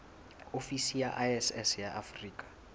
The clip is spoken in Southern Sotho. ofisi ya iss ya afrika